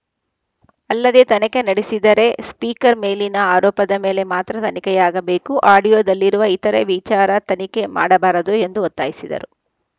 ಅಲ್ಲದೆ ತನಿಖೆ ನಡೆಸಿದರೆ ಸ್ಪೀಕರ್‌ ಮೇಲಿನ ಆರೋಪದ ಮೇಲೆ ಮಾತ್ರ ತನಿಖೆಯಾಗಬೇಕು ಆಡಿಯೋದಲ್ಲಿರುವ ಇತರೆ ವಿಚಾರ ತನಿಖೆ ಮಾಡಬಾರದು ಎಂದು ಒತ್ತಾಯಿಸಿದರು